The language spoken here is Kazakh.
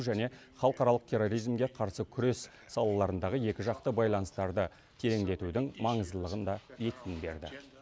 және халықаралық терроризмге қарсы күрес салаларындағы екіжақты байланыстарды тереңдетудің маңыздылығын да екпін берді